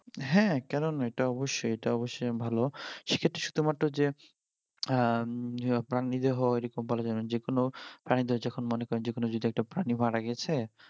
হ্যাঁ কেননা এটা অবশ্যই এটা অবশ্যই ভালো সে ক্ষেত্রে শুধুমাত্র যে আহ উম প্রাণী দেহ যেকোনো প্রাণীদেহ যেকোনো যদি একটা প্রাণী মারা গেছে